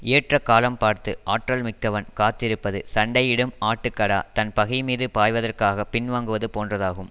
ஏற்ற காலம் பார்த்து ஆற்றல் மிக்கவன் காத்திருப்பது சண்டையிடும் ஆட்டுக்கடா தன் பகைமீது பாய்வதற்காகப் பின்வாங்குவது போன்றதாகும்